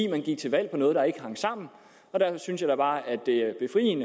man gik til valg på noget der ikke hang sammen derfor synes jeg da bare at det